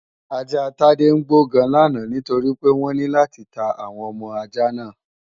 Ajá Tádé ń gbó gan làná nítorí pé wọ́n ní láti ta àwọn ọmọ ajá náà